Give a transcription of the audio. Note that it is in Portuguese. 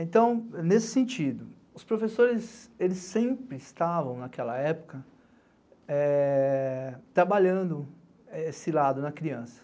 Então, nesse sentido, os professores sempre estavam, naquela época, é, é, trabalhando esse lado na criança.